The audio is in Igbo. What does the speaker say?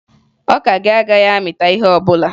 Ọka gị agaghị amịta ihe ọbụla